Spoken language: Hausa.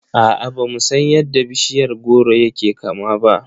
A'a, bamu san yadda bishiyar goro yake kama ba.